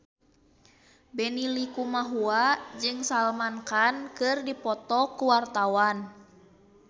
Benny Likumahua jeung Salman Khan keur dipoto ku wartawan